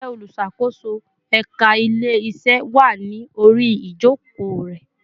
Ǹjẹ́ olùṣàkóso ẹka ile-iṣe wá ní orí ijoko re